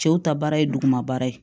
Cɛw ta baara ye duguma baara ye